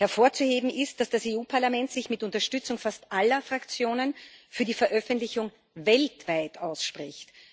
Hervorzuheben ist, dass das Europäische Parlament sich mit Unterstützung fast aller Fraktionen für die Veröffentlichung weltweit ausspricht.